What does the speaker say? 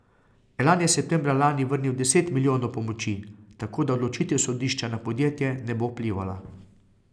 Elan je septembra lani vrnil deset milijonov pomoči, tako da odločitev sodišča na podjetje ne bo vplivala.